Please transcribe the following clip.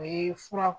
O ye fura